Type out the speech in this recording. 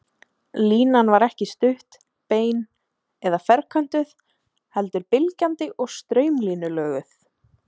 Línan var ekki stutt, bein eða ferköntuð heldur bylgjandi og straumlínulöguð.